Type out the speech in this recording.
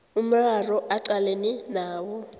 umraro aqalene nawo